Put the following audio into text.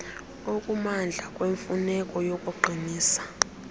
okumandla kwemfuneko yokuqinisa